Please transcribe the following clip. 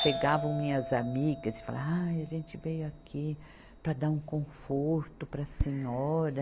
Chegavam minhas amigas e falavam, ai, a gente veio aqui para dar um conforto para a senhora.